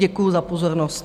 Děkuji za pozornost.